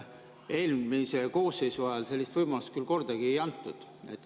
Eelmise koosseisu ajal sellist võimalust küll kordagi ei antud.